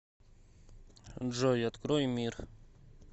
джой открой мир